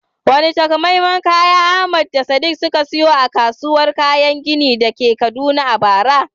Wane takamaiman kaya Ahmad da Sadiq suka saya a kasuwar kayan gini da ke Kaduna a bara?